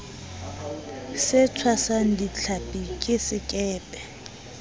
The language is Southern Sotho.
se tshwasang dihlapi ke sekepe